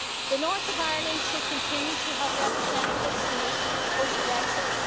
The north of Ireland should continue to have representatives here post Brexit.